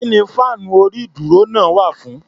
Kí ni fáànú orí-ìdúró náà wà fún?